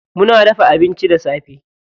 Muna dafa abinci da safe.